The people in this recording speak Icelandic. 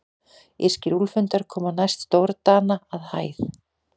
Írskir úlfhundar koma næst stórdana að hæð.